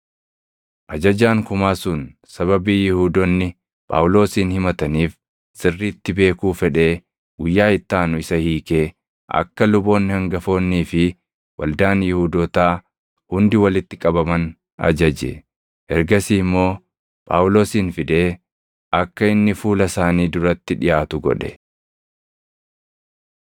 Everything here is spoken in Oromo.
Ajajaan kumaa sun sababii Yihuudoonni Phaawulosin himataniif sirriitti beekuu fedhee guyyaa itti aanu isa hiikee akka luboonni hangafoonnii fi waldaan Yihuudootaa hundi walitti qabaman ajaje. Ergasii immoo Phaawulosin fidee akka inni fuula isaanii duratti dhiʼaatu godhe.